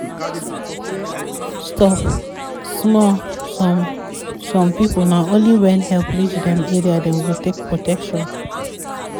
stop small some some people na only when help reach dem area dem go take protection